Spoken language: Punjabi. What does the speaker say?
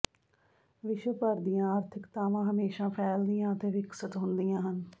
ਵਿਸ਼ਵ ਭਰ ਦੀਆਂ ਆਰਥਿਕਤਾਵਾਂ ਹਮੇਸ਼ਾਂ ਫੈਲਦੀਆਂ ਅਤੇ ਵਿਕਸਤ ਹੁੰਦੀਆਂ ਹਨ